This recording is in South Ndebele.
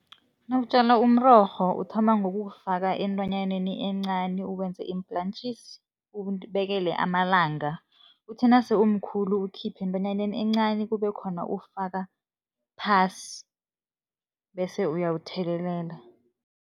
Nawutjala umrorho, uthoma ngokuwufaka entwanyaneni encani, uwenze iim-plaatjies, ubekele amalanga. Uthi nase umkhulu, ukhiphe entwananyeni encani, kube khona uwufaka phasi bese uyawuthelelela.